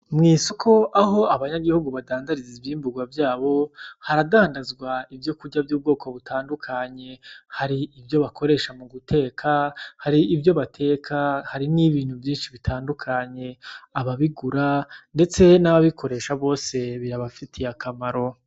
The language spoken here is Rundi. Mw'isoko aho abanyagihugu badandariza ivyimburwa vyabo haradandazwa ivyokurya vy'ubwoko butandukanye hari ivyo bakoresha muguteka , hari ivyo bateka hari nibintu vyinshi bitandukanye ababigura , ndetse nababikoresha bose bibafituye akamaro .